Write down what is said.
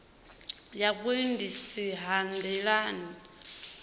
ya vhuendisi ha nḓilani ha